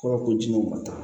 Fura ko ji bɔ